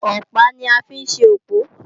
Ọ̀pá ni a fi ń ṣe òpó